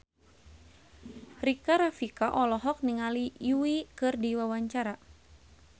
Rika Rafika olohok ningali Yui keur diwawancara